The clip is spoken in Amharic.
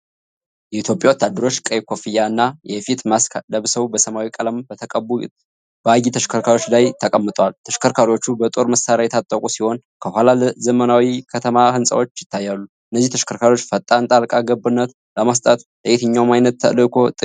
የኢትዮጵያ ወታደሮች ቀይ ኮፍያና የፊት ማስክ ለብሰው በሰማያዊ ቀለም በተቀቡ ባጊ ተሽከርካሪዎች ላይ ተቀምጠዋል። ተሽከርካሪዎቹ በጦር መሳሪያ የታጠቁ ሲሆን፣ ከኋላ ዘመናዊ የከተማ ህንጻዎች ይታያሉ። እነዚህ ተሽከርካሪዎች ፈጣን ጣልቃ ገብነትን ለመስጠት ለየትኛው ዓይነት ተልዕኮ ጥቅም ላይ ይውላሉ?